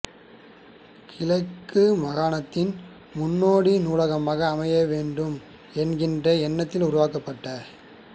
கிழக்கு மாகாணத்தின் முன்னோடி நூலகமாக அமைய வேண்டும் என்கின்ற எண்ணத்தில் உருவாக்கப்பட்ட